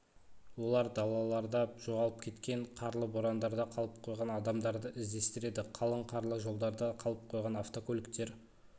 олар далаларда жоғалып кеткен қарлы борандарда қалып қойған адамдарды іздестіреді қалың қарлы жолдарда қалып қойған автокөліктер